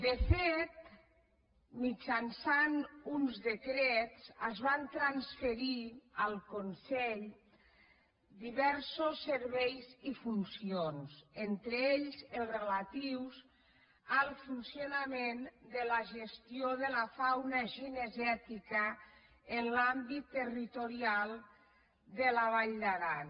de fet mitjançant uns decrets es van transferir al consell diversos serveis i funcions entre ells els rela·tius al funcionament de la gestió de la fauna cinegèti·ca en l’àmbit territorial de la vall d’aran